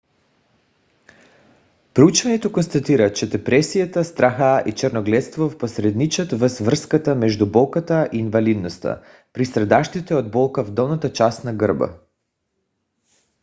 проучването констатира че депресията страха и черногледството посредничат във връзката между болката и инвалидността при страдащите от болка в долната част на гърба